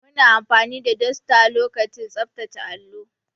Muna amfani da duster lokacin tsaftace allo.